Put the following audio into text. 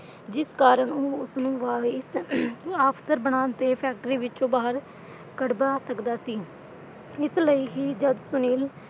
ਜਿਸ ਕਾਰਨ ਉਹ ਉਸਨੂੰ ਵਾਈਸ ਅਮ ਅਫ਼ਸਰ ਬਣਨ ਤੇ ਫੈਕਟਰੀ ਵਿਚੋਂ ਬਾਹਰ ਕੱਢਵਾ ਸਕਦਾ ਸੀ, ਇਸ ਲਈ ਹੀ ਜਦ ਸੁਨੀਲ,